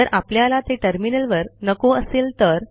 जर आपल्याला ते टर्मिनलवर नको असेल तर